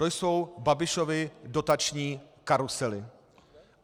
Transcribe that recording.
To jsou Babišovy dotační karusely.